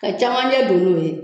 Ka cɛmancɛ don n'o ye.